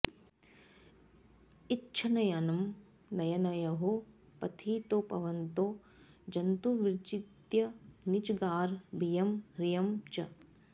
इच्छन्नयं नयनयोः पथि तौ भवन्तौ जन्तुर्विजित्य निजगार भियं ह्रियं च